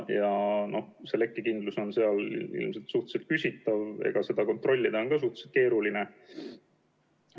Lekkekindlus on seal ilmselt suhteliselt küsitav ja seda kontrollida on ka suhteliselt keeruline.